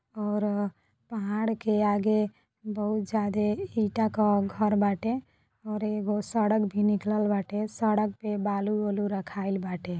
और पहाड़ के आगे बहुत जादे ईटा का घर बाटे और एगो सड़क भी निकलल बाटे। सड़क पे बालू वालु रखाइल बाटे।